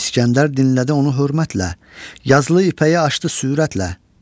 İsgəndər dinlədi onu hörmətlə, yazılı ipəyi açdı sürətlə.